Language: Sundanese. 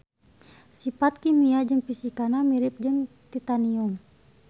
Sifat kimia jeung fisikana mirip jeung titanium.